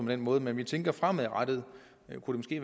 den måde men vi tænker at fremadrettet kunne det